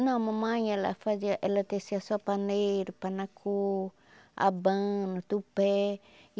Não, mamãe, ela fazia ela tecia só paneiro, panacô, abano, tupé.